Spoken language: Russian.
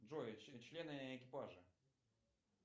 джой члены экипажа